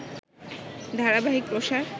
ধারাবাহিক প্রসার